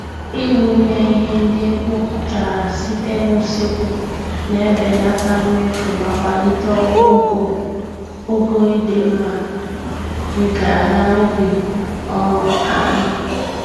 Ị wụnye ihe ndị e kpopụtara site n'usekwu, na-ebelata mmefu ma kwalite ogo ịdị mmá nke ala ubi um anyị